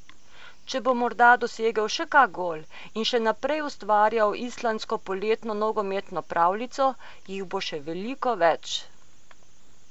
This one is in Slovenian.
Če bo morda dosegel še kak gol in še naprej ustvarjal islandsko poletno nogometno pravljico, jih bo še veliko več ...